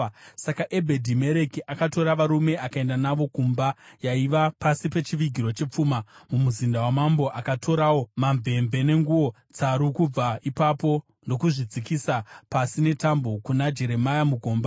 Saka Ebhedhi-Mereki akatora varume akaenda navo kumba yaiva pasi pechivigiro chepfuma mumuzinda wamambo. Akatorawo mamvemve nenguo tsaru kubva ipapo ndokuzvidzikisa pasi netambo kuna Jeremia mugomba.